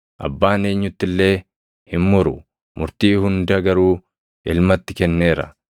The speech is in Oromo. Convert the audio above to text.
Abbaan eenyutti illee hin muru; murtii hunda garuu Ilmatti kenneera;